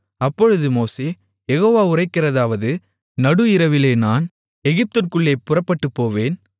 அப்பொழுது மோசே யெகோவா உரைக்கிறதாவது நடு இரவிலே நான் எகிப்திற்குள்ளே புறப்பட்டுப்போவேன்